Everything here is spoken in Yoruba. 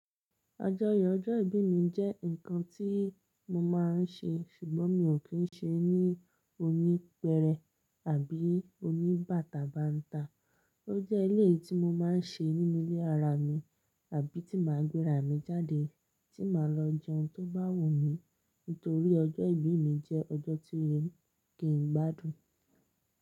Àjọyọ̀ ọjọ́ ìbí mi jẹ́ ǹkan tí mo máa ń ṣe, ṣùgbọ́n mi ò kí ń ṣe ní oní pẹrẹ àbí oní bàtàbàǹta. Ó jẹ́ eleyii tí mo máa ń ṣe nínú ilé ara mi àbí tí màá gbé ra mi jáde tí màá lọ jẹun tó bá wù mí nítorí ọjọ́ ìbí mi jẹ́ ọjọ́ tí oye kì n gbádùn.